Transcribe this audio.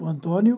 O Antônio.